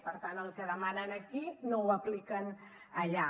per tant el que demanen aquí no ho apliquen allà